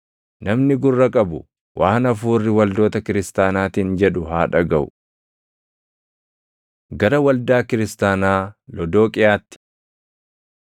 Namni gurra qabu waan Hafuurri waldoota kiristaanaatiin jedhu haa dhagaʼu. Gara Waldaa Kiristaanaa Lodooqiyaatti